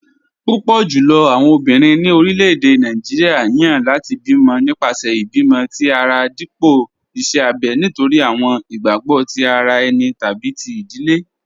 Púpọ̀ jùlọ̀ àwọn ọ̀bìnrin ni orílẹ̀-èdè Nàìjíríà yan láti bí mọ̀ nípasẹ̀ ìbímọ̀̀ tì ara dípọ̀ ìṣè àbẹ̀ nítorí àwọn ìgbàgbọ̀ tì ara ènì tàbí tí ìdílé.